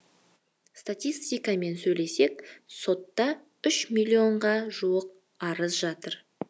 статистикамен сөйлесек сотта үш миллионға жуық арыз жатыр